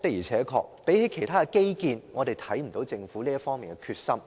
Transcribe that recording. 相比其他基建，我們看不到政府有這方面的決心。